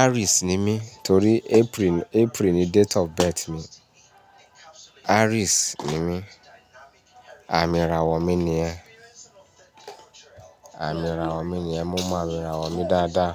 Aries ni mí torí April ni, April ni date of birth mi. Aries ni mí. Àmì ìràwọ̀ mi ni yẹn. Àmì ìràwọ̀ mi ni ẹ. Mo mọ àmì ìràwọ̀ mi dáadáa.